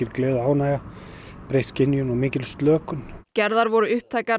gleði og ánægja breytt skynjun og mikil slökun gerðar voru upptækar